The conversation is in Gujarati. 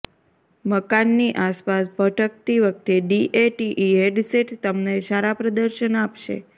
મકાનની આસપાસ ભટકતી વખતે ડીએટીટી હેડસેટ તમને સારા પ્રદર્શન આપશે